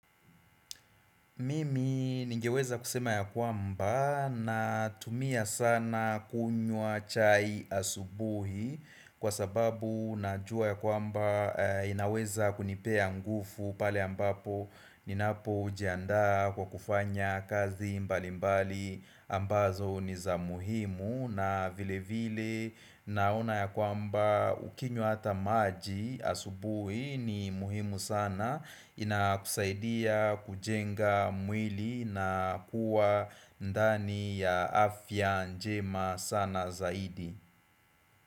Mimi ningeweza kusema ya kwamba natumia sana kunywa chai asubuhi kwa sababu najua ya kwamba inaweza kunipea nguvu pale ambapo ninapo jiandaa kwa kufanya kazi mbali mbali ambazo ni za muhimu na vile vile naona ya kwamba ukinywa hata maji asubuhi ni muhimu sana inakusaidia kujenga mwili na kuwa ndani ya afya njema sana zaidi.